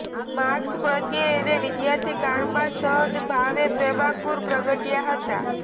marks પ્રત્યે એને વિદ્યાર્થીકાળમાં જ સહજભાવે પ્રેમાંકુર પ્રગટયા હતા